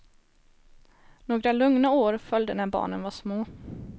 Några lugna år följde när barnen var små.